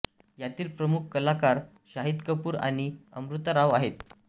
यातील प्रमुख कलाकार शाहिद कपूर आणि अमृता राव आहेत